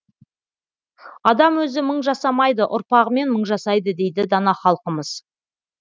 адам өзі мың жасамайды ұрпағымен мың жасайды дейді дана халқымыз